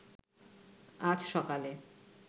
আজ সকালে